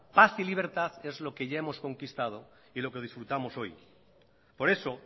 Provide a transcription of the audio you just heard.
paz y libertad es lo que ya hemos conquistado y lo que disfrutamos hoy por eso